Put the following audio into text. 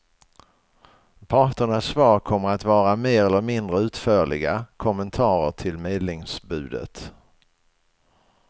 Parternas svar kommer att vara mer eller mindre utförliga kommentarer till medlingsbudet.